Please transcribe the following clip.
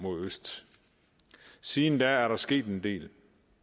mod øst siden da er der sket en del